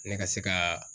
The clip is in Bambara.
Ne ka se ka